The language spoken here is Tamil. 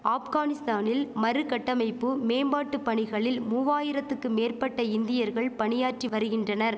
ஆப்கானிஸ்தானில் மறுகட்டமைப்பு மேம்பாட்டு பணிகளில் மூவாயிரத்துக்கு மேற்பட்ட இந்தியர்கள் பணியாற்றி வரிகின்றனர்